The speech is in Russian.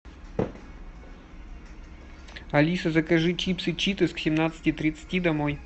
алиса закажи чипсы читос к семнадцати тридцати домой